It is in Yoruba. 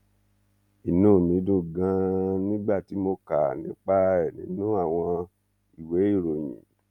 inú mi dùn ganan nígbà tí mo kà nípa ẹ nínú àwọn ìwé ìròyìn